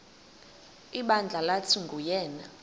ibandla lathi nguyena